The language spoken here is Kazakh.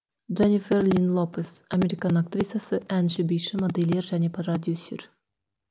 дже ннифер линн ло пес американ актрисасы әнші биші модельер және продюсер